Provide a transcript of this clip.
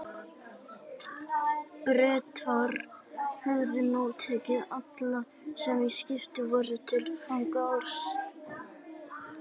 Bretar höfðu nú tekið alla, sem á skipinu voru, til fanga, alls